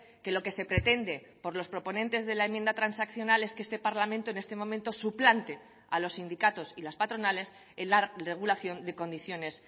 que lo que se pretende por los proponentes de la enmienda transaccional es que este parlamento en este momento suplante a los sindicatos y las patronales en la regulación de condiciones